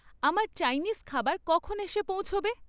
আমার চাইনিজ খাবার কখন এসে পৌঁছবে?